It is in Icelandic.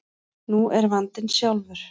Nú er vandinn sjálfur.